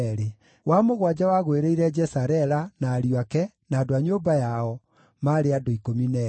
wa mũgwanja wagũĩrĩire Jesarela, na ariũ ake, na andũ a nyũmba yao, maarĩ andũ 12;